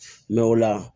Mɛ o la